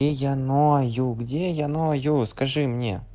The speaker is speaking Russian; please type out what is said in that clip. я ною где я ною скажи мне